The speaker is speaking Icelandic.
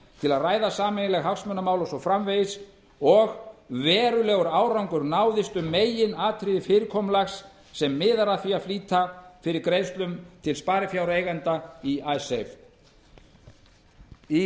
til að ræða sameiginleg hagsmunamál og svo framvegis og verulegur árangur náðist um meginatriði fyrirkomulags sem miðar að því að flýta fyrir greiðslum til sparifjáreigenda í icesave í